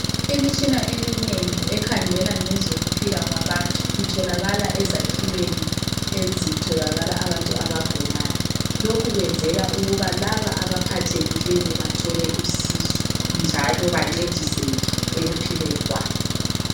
Imitshina eminengi ekhangela ngezokuphila kwabantu itholakala ezakhiweni ezitholakala abantu abagulayo. Lokhu kwenzela ukuba laba abaphathekileyo bathole usizo njalo bancediseke ekuphileni kwabo.